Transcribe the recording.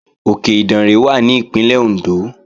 Òkè Ìdànrè wà ní Ìpínlẹ̀ Òndó